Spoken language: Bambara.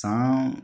San